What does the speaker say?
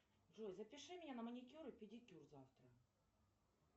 джой запиши меня на маникюр и педикюр завтра